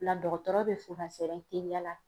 O la dɔgɔtɔrɔ be fo ka sɔrɔ teliya la